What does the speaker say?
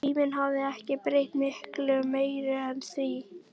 Tíminn hafði ekki breytt miklu meiru en því.